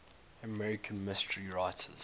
american mystery writers